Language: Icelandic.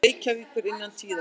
Reykjavíkur innan tíðar.